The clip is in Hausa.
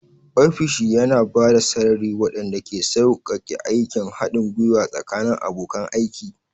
Ofishi yana ba da sarari waɗanda ke sauƙaƙe aikin haɗin gwiwa tsakanin abokan aiki.